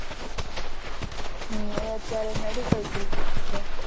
હમ એ અત્યારે medical student માં છે.